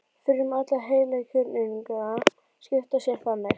Frumur allra heilkjörnunga skipta sér þannig.